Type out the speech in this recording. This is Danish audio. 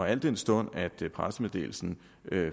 al den stund at pressemeddelelsen